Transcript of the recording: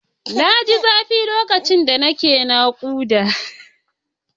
Na ji zafi lokacin da nake naƙuda.